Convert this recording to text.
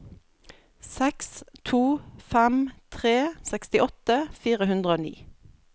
seks to fem tre sekstiåtte fire hundre og ni